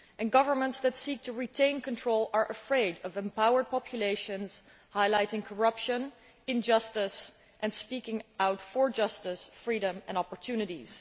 Governments that seek to retain control are afraid of empowered populations highlighting corruption, injustice and speaking out for justice, freedom and opportunities.